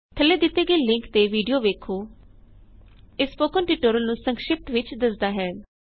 ਥੱਲੇ ਦਿੱਤੇ ਗਏ ਲਿੰਕ ਤੇ ਵੀਡਿਓ ਵੇਖੋ ਇਹ ਸਪੋਕਨ ਟਯੂਟੋਰਿਅਲ ਨੂੰ ਸੰਕਸ਼ਿਪਤ ਵਿੱਚ ਦਸਦਾ ਹੈ